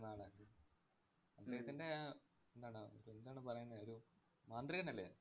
അദ്ദേഹത്തിന്‍റെ ആഹ് എന്താണ് എന്താണ് പറയുന്നെ, ഒരു മാന്ത്രികനല്ലേ.